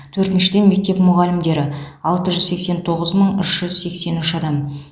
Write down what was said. төртіншіден мектеп мұғалімдері алты жүз сексен тоғыз мың үш жүз сексен үш адам